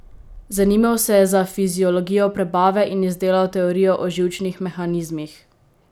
Zanimal se je za fiziologijo prebave in izdelal teorijo o živčnih mehanizmih.